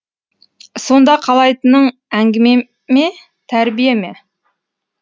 сонда қалайтының әңгіме ме тәрбие ме